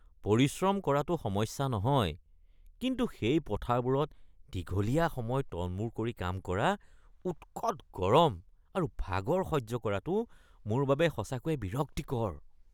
পৰিশ্ৰম কৰাটো সমস্যা নহয়, কিন্তু সেই পথাৰবোৰত দীঘলীয়া সময় তলমূৰ কৰি কাম কৰা, উৎকত গৰম আৰু ভাগৰ সহ্য কৰাটো মোৰ বাবে সঁচাকৈয়ে বিৰক্তিকৰ।